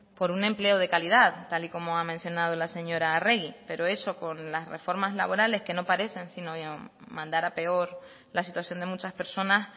por un empleo de calidad tal y como ha mencionado la señora arregi pero eso con las reformas laborales que no parecer sino mandar a peor la situación de muchas personas